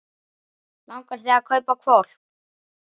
Langar þig að kaupa hvolp?